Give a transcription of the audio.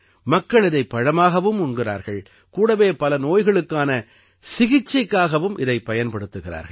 மக்கள் இதைப் பழமாகவும் உண்கிறார்கள் கூடவே பல நோய்களுக்கான சிகிச்சைக்காகவும் இதைப் பயன்படுத்துகிறார்கள்